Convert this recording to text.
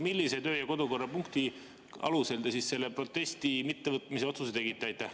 Millise kodu- ja töökorrapunkti alusel te selle protesti mittevõtmise otsuse tegite?